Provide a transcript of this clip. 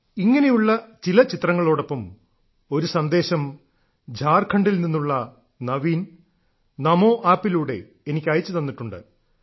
ഇങ്ങനെയുള്ള ചില ചിത്രങ്ങളോടൊപ്പം ഒരു സന്ദേശം ഝാർഖണ്ഡിൽ നിന്നുള്ള നവീൻ ചമാീ ആപ്പിലൂടെ എനിക്ക് അയച്ചു തന്നിട്ടുണ്ട്